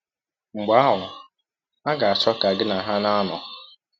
Mgbe ahụ, ha ga - achọ ka gị na ha na - anọ.